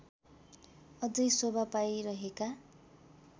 अझै शोभा पाइरहेका